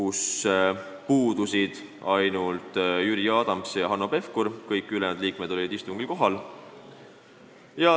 Sellelt istungilt puudusid ainult Jüri Adams ja Hanno Pevkur, kõik ülejäänud liikmed olid istungil kohal.